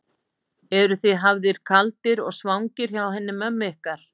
Eruð þið hafðir kaldir og svangir hjá henni mömmu ykkar?